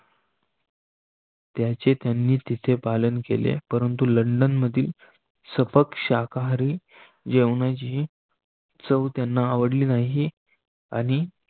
त्याे त्यांनी तिथे पालन केले. परंतु लंडन मधील सपक शाकाहारी जेवणाची चव त्यांना आवडली नाही.